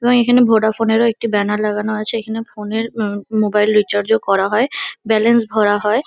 এবং এখানে Vodafone -এর ও একটি ব্যানার লাগানো আছে। এখানে ফোন -এর ওম মোবাইল রিচার্জ -ও করা হয় । ব্যালেন্স ভরা হয় ।